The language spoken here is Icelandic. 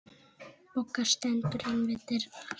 Bogga stendur ein við dyrnar.